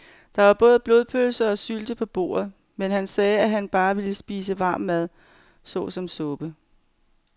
Der var både blodpølse og sylte på bordet, men han sagde, at han bare ville spise varm mad såsom suppe.